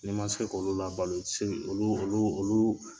Ne man se k'olu labalo i tɛ se k'u olu olu olu.